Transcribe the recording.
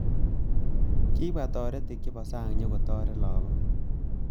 Kibwa toretik chebo sang nyikotaret lakok